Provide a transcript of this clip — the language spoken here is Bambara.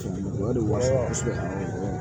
O de wa saba